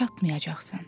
Çatmayacaqsan.